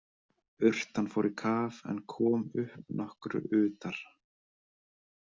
Urtan fór í kaf en kom upp nokkru utar.